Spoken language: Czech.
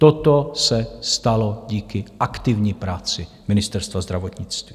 Toto se stalo díky aktivní práci Ministerstva zdravotnictví.